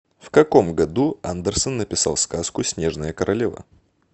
в каком году андерсон написал сказку снежная королева